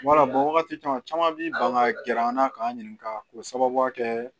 Wala wagati caman bi ban ka gɛrɛ an na k'an ɲininka k'o sababuya kɛ